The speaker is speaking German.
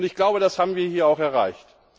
Ich glaube, das haben wir hier auch erreicht.